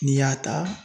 N'i y'a ta